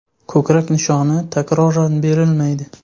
Ko‘krak nishoni takroran berilmaydi.